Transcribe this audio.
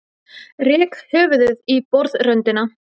Rek höfuðið í borðröndina.